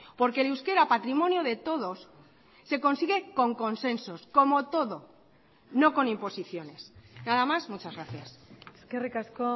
porque el euskera patrimonio de todos se consigue con consensos como todo no con imposiciones nada más muchas gracias eskerrik asko